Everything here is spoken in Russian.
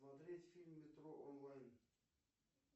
смотреть фильм метро онлайн